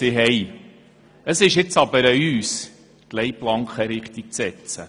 Nun ist es an uns, diese Leitplanken richtig zu setzen.